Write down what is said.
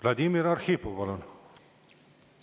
Vladimir Arhipov, palun!